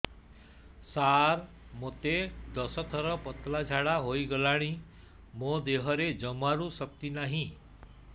ସାର ମୋତେ ଦଶ ଥର ପତଳା ଝାଡା ହେଇଗଲାଣି ମୋ ଦେହରେ ଜମାରୁ ଶକ୍ତି ନାହିଁ